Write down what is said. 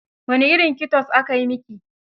Wane irin kitos aka yi miki?